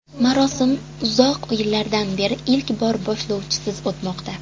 Marosim uzoq yillardan beri ilk bor boshlovchisiz o‘tmoqda.